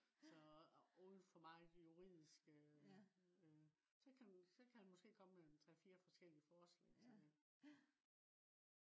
så og for meget juridisk øh så kan den måske komme med 3 4 forskellige forsalg til